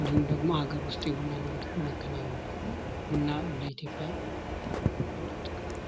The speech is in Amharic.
እንዲሁም ደግሞ አገር ዉስጥ የቡና ንግድ ማከናወን ነዉ። ቡና ለኢትዮጵያ ትልቅ ጥቅም አለዉ።